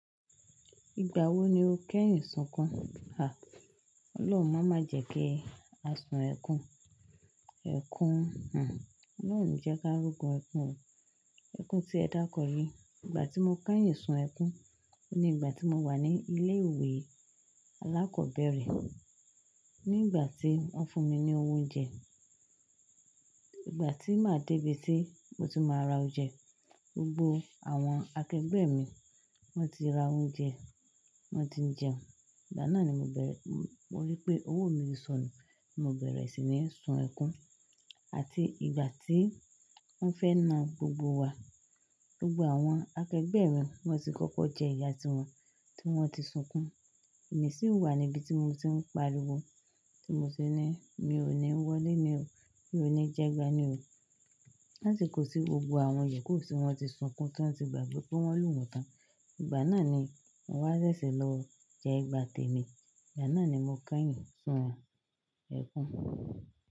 Ìgbà wo ni o kẹ́yìn sunkún? À, Ọlọ́hun má má jẹ́ kí a sun ẹkún. Ẹkún, hm, Ọlọ́run oni jẹ́ ká rógun ẹkún o, ẹkún tí ẹ dákọ yiií. Ìgbà tí mo kẹ́yìn sun ẹkún ni ìgbà tí mo wà ní ilé ìwé alákọ̀ọ́bẹ̀rẹ̀. Nígbà tí wọ́n fún mi ní owo oúnjẹ, ìgbà tí màá dé bi tí mo ti máa ra oúnjẹ, gbogbo àwọn akẹgbẹ́ mi wọ́n ti ra oúnjẹ, wọ́n ti ń jẹun. Ìgbà náà ni mo bẹ̀rẹ̀, mo rí pé owó mi sọnù, mo bẹ̀rẹ̀ sì ní sun ẹkún. Àti ìgbà tí wọ́n fẹ́ na gbogbo wa, gbogbo àwọn akẹgbẹ́ mi wọ́n ti kọ́kọ́ jẹ ìyá tiwọn tí wọ́n ti sunkún, èmi sì wà níbi tí mo ti ń pariwo tí mo ti ní mi ò ní wọlé ní o, mi ò ní jẹgba ní o. Lásikò tí gbogbo àwọn ìyokú tí wọ́n ti sunkún tọ́n ti gbàgbe pé wọ́n lu wọn tán. Ìgbà náà ni mo wá ṣẹ̀ṣẹ̀ lọ jẹ ẹ̀gbà temi. Ìgbà náà ni mo kẹ́yìn sun ẹkún.